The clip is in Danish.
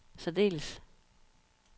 særdeles